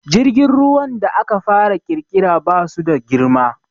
Jirgin ruwan da aka fara ƙirƙira ba su da girma